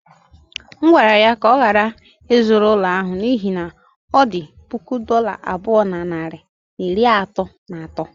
M gwara ya ka ọ ghara ịzụrụ ụlọ ahụ n’ihi na ọ dị puku dollar abụọ na narị na iri atọ na atọ.